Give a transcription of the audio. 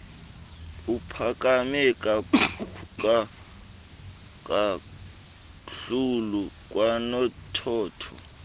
ophakame kakhlulu kwanothotho